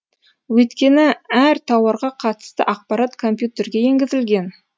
өйткені әр тауарға қатысты ақпарат компьютерге енгізілген